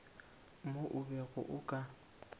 mo o bego o ka